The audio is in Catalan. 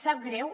sap greu